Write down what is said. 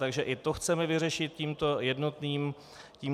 Takže i to chceme vyřešit tímto jednotným papírem.